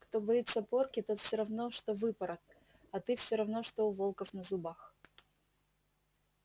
кто боится порки тот всё равно что выпорот а ты всё равно что у волков на зубах